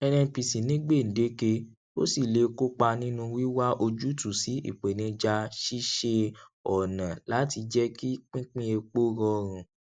nnpc ní gbè̀déke ó sì lè kópa nínú wíwá ojútùú sí ìpènijà ṣíṣe ọnà láti jẹ kí pínpín epo rọrùn